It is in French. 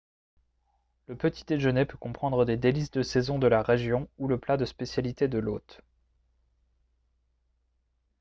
le petit déjeuner peut comprendre des délices de saison de la région ou le plat de spécialité de l'hôte